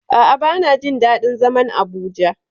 A'a bana jin daɗin zaman Abuja.